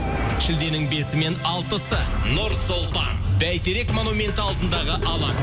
шілденің бесі мен алтысы нұр сұлтан бәйтерек монументі алдындағы алаң